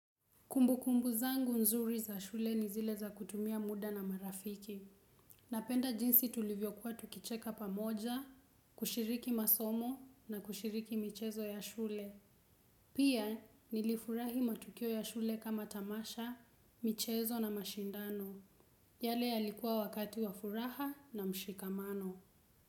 Kumbu kumbu zangu nzuri za shule ni zile za kutumia muda na marafiki. Napenda jinsi tulivyokuwa tukicheka pamoja, kushiriki masomo na kushiriki michezo ya shule. Pia nilifurahi matukio ya shule kama tamasha, michezo na mashindano. Yale yalikuwa wakati wa furaha na mshikamano.